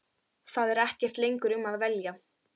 Það er ekkert lengur um að velja.